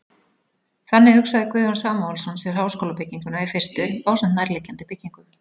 Þannig hugsaði Guðjón Samúelsson sér háskólabygginguna í fyrstu ásamt nærliggjandi byggingum.